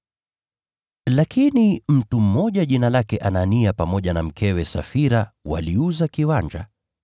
Lakini mtu mmoja jina lake Anania pamoja na mkewe Safira waliuza kiwanja.